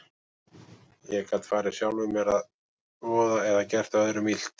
Ég gat farið sjálfum mér að voða eða gert öðrum illt.